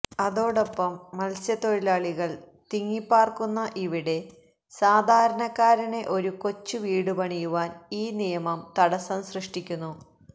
അതോടൊപ്പം മത്സ്യതൊഴിലാളികള് തിങ്ങിപ്പാര്ക്കുന്ന ഇവിടെ സാധാരണക്കാരന് ഒരു കൊച്ചു വീട് പണിയുവാന് ഈ നിയമം തടസം സൃഷ്ട്ടിക്കുന്നു